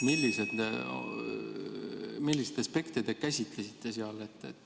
Milliseid aspekte te seal käsitlesite?